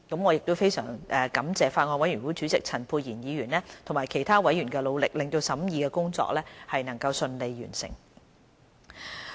我非常感謝法案委員會主席陳沛然議員及其他委員的努力，令審議工作順利完成。